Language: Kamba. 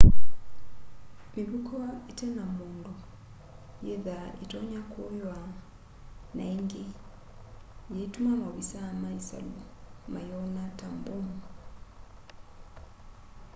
mivuko ite na mundu yithwaa itonya kuywa na ingi yiutuma maovisaa ma isalu mayona ta mbomu